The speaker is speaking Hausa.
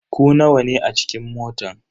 Ku nawa ne a cikin motan.